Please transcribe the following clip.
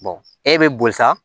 e bɛ boli sa